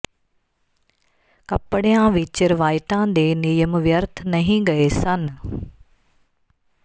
ਕੱਪੜਿਆਂ ਵਿਚ ਰਵਾਇਤਾਂ ਦੇ ਨਿਯਮ ਵਿਅਰਥ ਨਹੀਂ ਗਏ ਸਨ